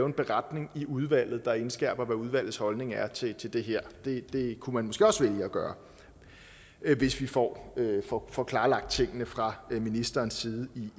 en beretning i udvalget der indskærper hvad udvalgets holdning er til til det her det kunne man måske også vælge at gøre hvis vi får får klarlagt tingene fra ministerens side